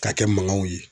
Ka kɛ mankanw ye